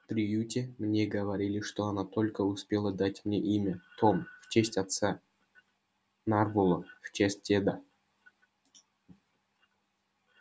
в приюте мне говорили что она только успела дать мне имя том в честь отца нарволо в честь деда